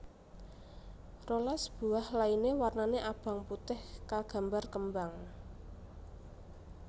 rolas buah lainé warnané abang putih kagambar kembang